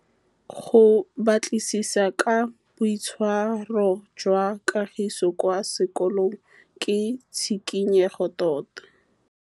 Go batlisisa ka boitshwaro jwa Kagiso kwa sekolong ke tshikinyêgô tota.